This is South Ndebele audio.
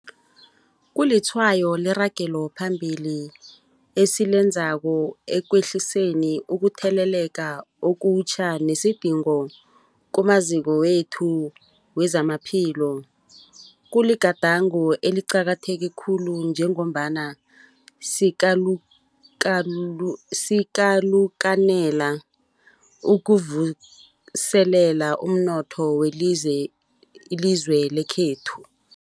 Kulitshwayo leragelo phambili esilenzako ekwehliseni ukutheleleka okutjha nesidingo kumaziko wethu wezamaphilo. Kuligadango eliqakatheke khulu njengombana sikalukanela ukuvuselela umnotho welizwe lekhethu.